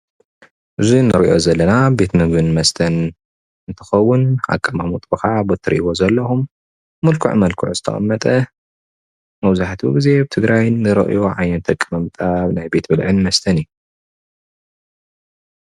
እዚ እንሪኦ ዘለና ቤት ምግብን መስተን እንትከውን ኣቀማምጥኡ ከዓ በቲ እትሪእዎ ዘለኩም ምልኩዕ ምልኩዕ ዝተቀመጠ መብዛሕትኡ ግዜ ኣብ ትግራይ እንሪኦ ዓይነት ኣቀማምጣ ናይ ቤት ብልዕን መስተን እዩ፡፡